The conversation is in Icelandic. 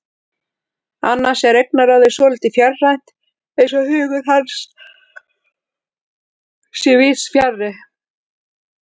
Annars er augnaráðið svolítið fjarrænt, eins og hugur hans sé víðsfjarri.